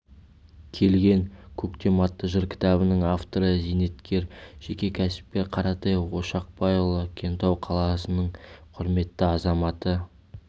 келген көктем атты жыр кітабының авторы зейнеткер жеке кәсіпкер қаратай ошақбайұлы кентау қаласының құрметті азаматы